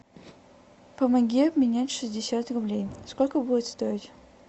помоги обменять шестьдесят рублей сколько будет стоить